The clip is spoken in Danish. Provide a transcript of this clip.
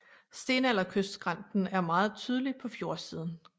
Stenalderkystskrænten er meget tydelig på fjordsiden